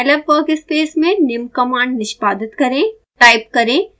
scilab workspace में निम्न commands निष्पादित करें